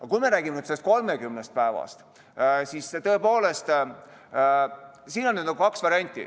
Aga kui me räägime nüüd sellest 30 päevast, siis siin on kaks varianti.